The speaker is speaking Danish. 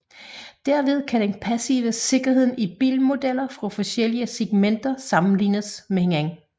Derved kan den passive sikkerhed i bilmodeller fra forskellige segmenter sammenlignes med hinanden